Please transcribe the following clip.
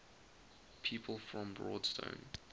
people from broadstone